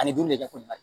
Ani dun de ka kojugu